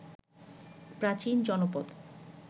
প্রাচীন জনপদ